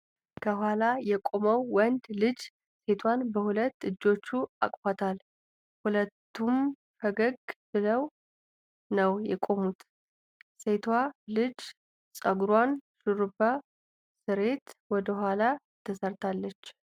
ከኋላ የቆመው ወንድ ልጅ ሴቷን በሁለት እጆቹ አቅፏታል። ሁለቱም ፈገግ ብለው ነው የቆሙት። ሴቷ ልጅ ጸጉሯን ሹሩባ ስሬት ወደኋላ ተሰታለች።